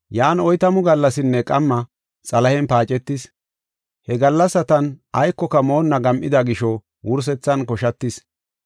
Yan oytamu gallasinne qamma xalahen paacetis. He gallasatan aykoka moonna gam7ida gisho wursethan koshatis.